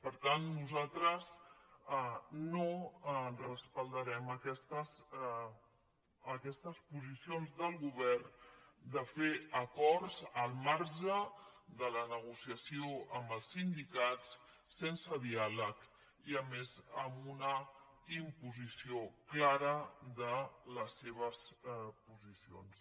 per tant nosaltres no recolzarem aquestes posicions del govern de fer acords al marge de la negociació amb els sindicats sense diàleg i a més amb una imposició clara de les seves posicions